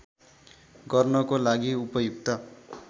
गर्नको लागि उपयुक्त